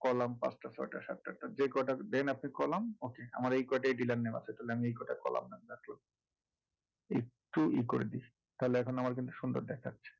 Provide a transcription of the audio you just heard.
column পাঁচটা ছয়টা সাতটা আটটা যে কয়টা দেন আপনি column . আমার এই কয়টাই dealer name আছে তাহলে আমি এই কয়টাই column নিয়ে কাজ করবো একটু ই করে দিই তাহলে এখন আমার কিন্তু সুন্দর দেখাচ্ছে